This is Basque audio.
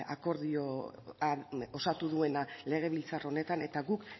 akordioan osatu duena legebiltzar honetan eta guk